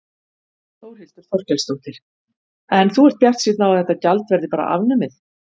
Þórhildur Þorkelsdóttir: En þú ert bjartsýnn á að þetta gjald verði bara afnumið?